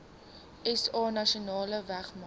sa nasionale weermag